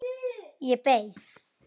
Ég beið.